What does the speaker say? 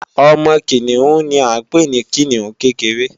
Ọmọ Kìnìún ni à ń pè ní Kìnìún kékeré